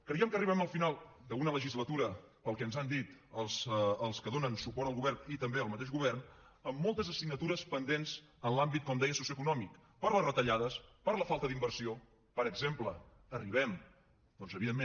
creiem que arribem al final d’una legislatura pel que ens han dit els que donen suport al govern i també el mateix govern amb moltes assignatures pendents en l’àmbit com deia socioeconòmic per les retallades per la falta d’inversió per exemple arribem doncs evidentment